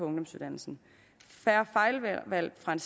ungdomsuddannelse færre fejlvalg fra